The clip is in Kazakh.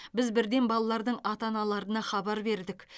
біз бірден балалардың ата аналарына хабар бердік